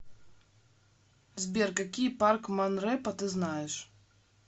сбер какие парк монрепо ты знаешь